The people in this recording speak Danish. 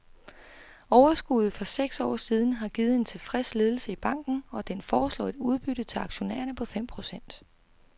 Overskuddet for seks år siden har givet en tilfreds ledelse i banken, og den foreslår et udbytte til aktionærerne på fem procent.